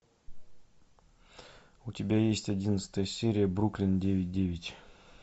у тебя есть одиннадцатая серия бруклин девять девять